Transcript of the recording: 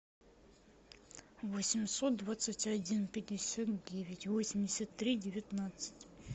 восемьсот двадцать один пятьдесят девять восемьдесят три девятнадцать